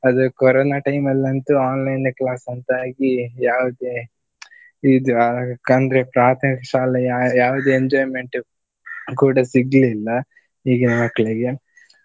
ಅದು corona time ಲ್ಲಂತು online class ಅಂತ ಆಗಿ ಯಾವುದೇ ಇದು ಅಂದ್ರೆ ಪ್ರಾಥಮಿಕ ಶಾಲೆಯ ಯಾವುದೇ enjoyment ಕೂಡ ಸಿಗ್ಲಿಲ್ಲ ಈಗಿನ ಮಕ್ಳಿಗೆ .